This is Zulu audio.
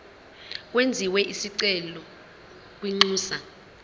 kwenziwe isicelo kwinxusa